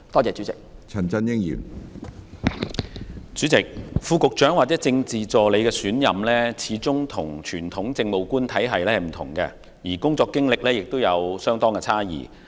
主席，副局長或政治助理的選任，始終與傳統政務官體系不同，工作經驗亦有差異。